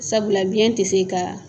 Sabula biɲɛn tɛ se ka